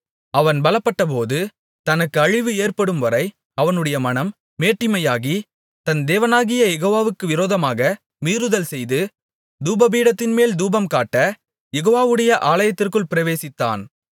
அவன் பலப்பட்டபோது தனக்கு அழிவு ஏற்படும் வரை அவனுடைய மனம் மேட்டிமையாகி தன் தேவனாகிய யெகோவாவுக்கு விரோதமாக மீறுதல் செய்து தூபபீடத்தின்மேல் தூபம் காட்ட யெகோவாவுடைய ஆலயத்திற்குள் பிரவேசித்தான்